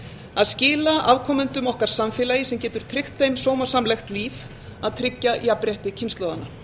að skila afkomendum okkar samfélagi sem geti tryggt þeim sómasamlegt líf að tryggja jafnrétti kynslóðanna